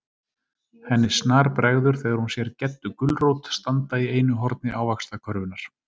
Henni snarbregður þegar hún sér GEDDU GULRÓT standa í einu horni ávaxtakörfunnar.